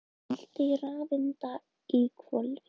Fjöldi rafeinda í hvolfi.